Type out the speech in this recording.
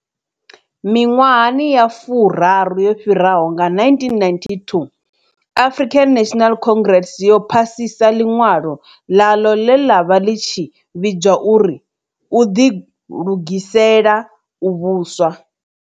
Miṅwahani ya furaru yo fhiraho, nga1992, African National Congress yo phasisa ḽiṅwalo ḽayo ḽe ḽa vha ḽi tshi vhidzwa u ri u ḓilugisela u vhuswa.